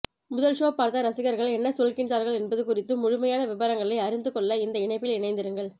முதல் ஷோ பார்த்த ரசிகர்கள் என்ன சொல்கின்றார்கள் என்பது குறித்து முழுமையான விபரங்களை அறிந்து கொள்ள இந்த இணைப்பில் இணைந்திருங்கள்